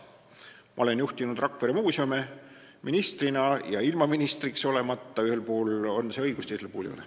Ma olen juhtinud Rakvere muuseume ministrina ja ilma ministriks olemata, ühel puhul on see õigus, teisel puhul ei ole.